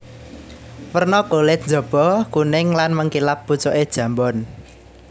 Werna kulit njaba kuning lan mengkilap pucuke jambon